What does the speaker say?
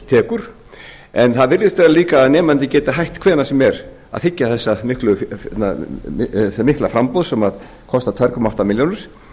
tekur en það virðist vera líka að nemandinn geti hætt h hvenær sem er að þiggja þetta mikla framboð sem kostar tvö komma átta milljónir